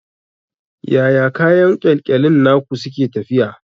Yaya kayan ƙyalƙyalin naku suke tafiya?